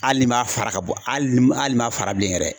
Hali ni maa fara ka bɔ ali n'i ma fara bilen yɛrɛ.